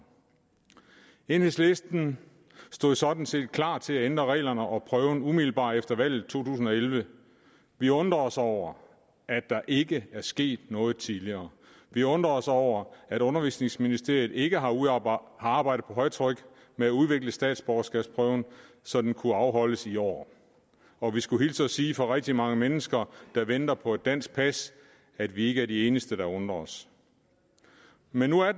enhedslisten stod sådan set klar til at ændre reglerne og prøven umiddelbart efter valget to tusind og elleve vi undrer os over at der ikke er sket noget tidligere vi undrer os over at undervisningsministeriet ikke har arbejdet på højtryk med at udvikle statsborgerskabsprøven så den kunne afholdes i år og vi skulle hilse og sige fra rigtig mange mennesker der venter på et dansk pas at vi ikke er de eneste der undrer os men nu er